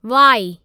Y